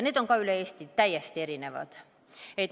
Need on ka üle Eesti täiesti erinevad.